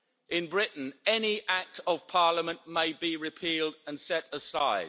In Britain, any act of parliament may be repealed and set aside